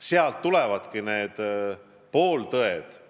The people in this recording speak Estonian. Sealt need pooltõed tulevadki.